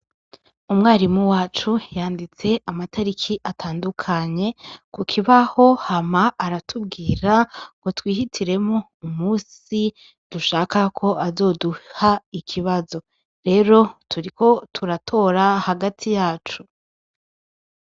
Umwarimu wacu yanditse amatariki atandukanye ku kibaho, hama aratubwira ngo twihitiremwo umusi dushaka ko azoduha ikibazo. Rero turiko turatora hagati yacu.